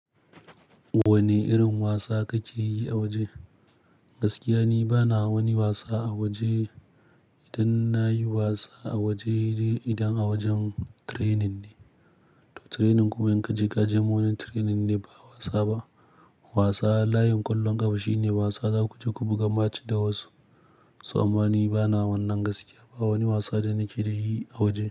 Wane irin wasa kake yi a waje? Gaskiya ni bana wani wasa a waje. Idan nayi wasa a waje, idan a wajen training ne. To training kuma in kaje, kaje morning training ne ba wasa ba. Wasa layin ƙwallon ƙafa shine wasa za ku je ku buga match da wasu. So amma ni bana wannan gaskiya, ba wani wasa da nake yi a waje.